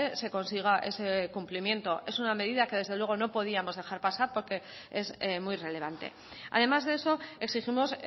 se consiga ese cumplimiento es una medida que desde luego no podíamos dejar pasar porque es muy relevante además de eso exigimos